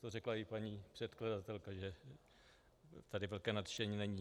To řekla i paní předkladatelka, že tady velké nadšení není.